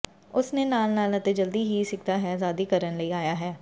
ਉਸ ਨੇ ਨਾਲ ਨਾਲ ਅਤੇ ਜਲਦੀ ਹੀ ਸਿੱਖਦਾ ਹੈ ਆਜ਼ਾਦੀ ਕਰਨ ਲਈ ਆਇਆ ਹੈ